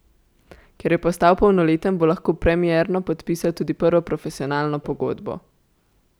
Ker je postal polnoleten, bo lahko premierno podpisal tudi prvo profesionalno pogodbo.